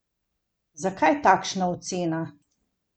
Zakaj takšna ocena?